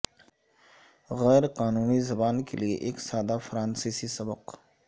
غیر قانونی زبان کے لئے ایک سادہ فرانسیسی سبق